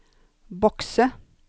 bokse